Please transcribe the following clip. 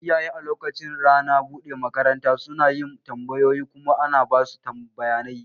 Iyaye a lokacin ranar buɗe makaranta suna yin tambayoyi kuma ana basu bayanai.